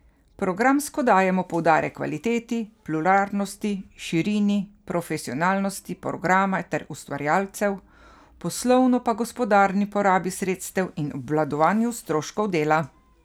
Programsko dajemo poudarek kvaliteti, pluralnosti, širini in profesionalnosti programa ter ustvarjalcev, poslovno pa gospodarni porabi sredstev in obvladovanju stroškov dela.